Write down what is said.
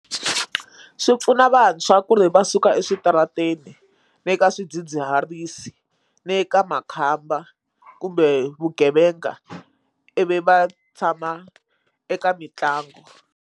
Swi pfuna vantshwa ku ri va suka eswitarateni ni ka swidzidziharisi ni ka makhamba kumbe vugevenga i vi va tshama eka mitlangu.